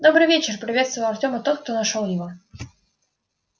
добрый вечер приветствовал артёма тот кто нашёл его